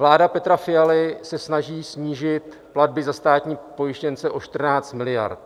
Vláda Petra Fialy se snaží snížit platby za státní pojištěnce o 14 miliard.